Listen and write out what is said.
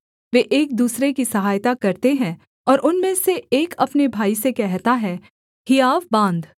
वे एक दूसरे की सहायता करते हैं और उनमें से एक अपने भाई से कहता है हियाव बाँध